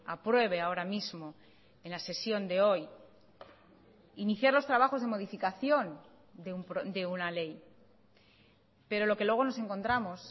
apruebe ahora mismo en la sesión de hoy iniciar los trabajos de modificación de una ley pero lo que luego nos encontramos